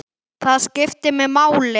Það skiptir mig máli.